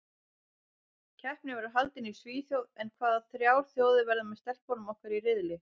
Keppnin verður haldin í Svíþjóð en hvaða þrjár þjóðir verða með stelpunum okkar í riðli?